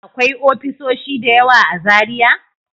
Akwai ofisoshi da yawa a Zaria?